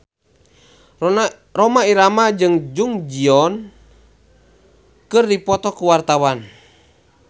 Rhoma Irama jeung Jung Ji Hoon keur dipoto ku wartawan